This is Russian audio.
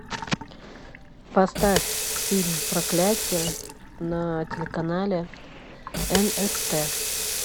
поставь фильм проклятье на телеканале нст